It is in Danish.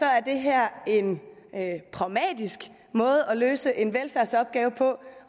er det her en pragmatisk måde at løse en velfærdsopgave på